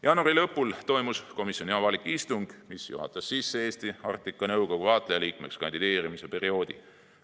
Jaanuari lõpul toimus komisjoni avalik istung, mis juhatas sisse Eesti Arktika Nõukogu vaatlejaliikmeks kandideerimise perioodi.